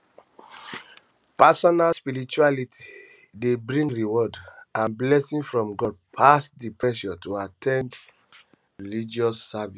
personal spirituality de bring rewards and blessings from god pass di pressure to at ten d religious services